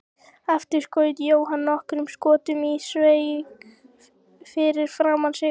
Aftur skaut Jóhann nokkrum skotum í sveig fyrir framan sig.